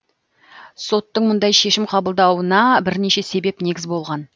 соттың мұндай шешім қабылдауына бірнеше себеп негіз болған